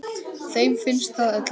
Þeim finnst það öllum.